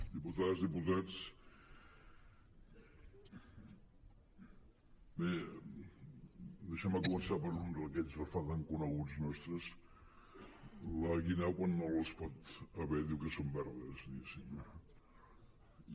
diputades diputats bé deixeu me començar per un d’aquells refranys coneguts nostres la guineu quan no les pot haver diu que són verdes diguéssim